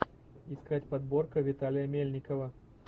искать подборка виталия мельникова